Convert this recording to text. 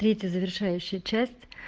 третья завершающая часть